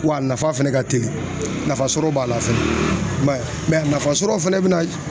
Wa a nafa fana ka teli nafa sɔrɔ b'a la fɛnɛ a nafa sɔrɔ fɛnɛ bɛ na